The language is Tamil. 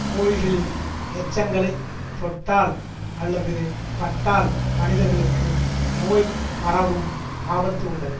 கோழிகளின் எச்சங்களைத் தொட்டால் அல்லது பட்டால் மனிதர்களுக்கு நோய் பரவும் ஆபத்து உள்ளது